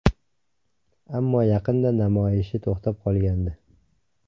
Ammo yaqinda namoyishi to‘xtab qolgandi .